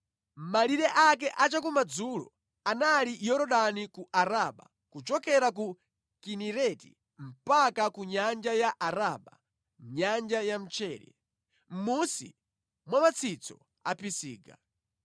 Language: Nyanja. Malire ake a chakumadzulo anali Yorodani ku Araba, kuchokera ku Kinereti mpaka ku Nyanja ya Araba (Nyanja ya Mchere), mʼmunsi mwa matsitso a Pisiga.